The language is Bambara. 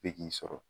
Be k'i sɔrɔ